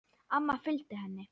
Amma fylgdi henni.